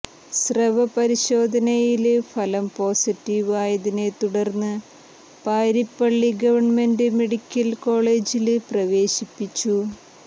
സ്രവ പരിശോധനയില് ഫലം പോസിറ്റീവ് ആയതിനെത്തുടര്ന്ന് പാരിപ്പള്ളി ഗവണ്മെന്റ് മെഡിക്കല് കോളജില് പ്രവേശിപ്പിച്ചു